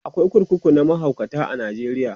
akwai kurkuku na mahaukata a Najeriya